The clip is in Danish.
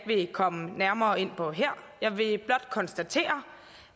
vil komme nærmere ind på her jeg vil blot konstatere